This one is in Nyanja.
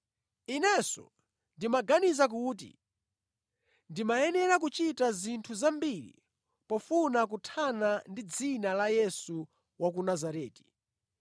“Inenso ndimaganiza kuti ndimayenera kuchita zinthu zambiri pofuna kuthana ndi dzina la Yesu wa ku Nazareti.